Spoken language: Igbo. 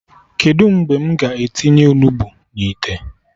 Kedụ mgbe m ga-etinye Onugbu na ite?